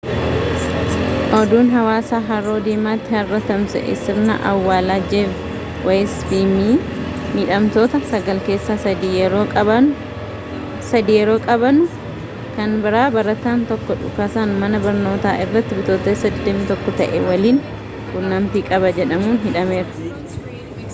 oduun hawaasa haroo diimatti harra tamsahe sirna awwaalaa jeef weeyis fi miidhamtoota sagal keessa sadi yeroo qabamanu kan biraa barataan tokko dhukaasa mana barnootaa irratti bitootessa 21 ta'e waliin quunnamitii qaba jedhamuun hidhameera